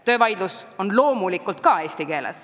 Töövaidlus käib loomulikult samuti eesti keeles.